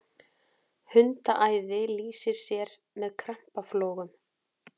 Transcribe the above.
hundaæði lýsir sér með krampaflogum